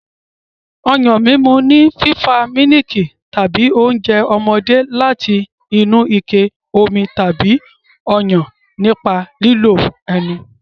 Ọyàn mímu ni fífa mílìkì tàbí oúnjẹ ọmọdé láti inú ike omi tàbí Ọyàn nípa lílo ẹnu.